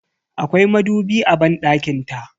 Akwai madubi a banɗakin ta.